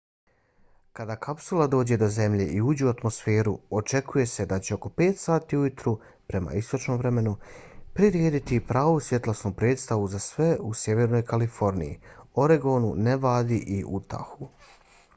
kada kapsula dođe do zemlje i uđe u atmosferu očekuje se da će oko 5 sati ujutro prema istočnom vremenu prirediti pravu svjetlosnu predstavu za sve u sjevernoj kaliforniji oregonu nevadi i utahu